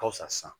Halisa